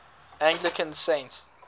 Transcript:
anglican saints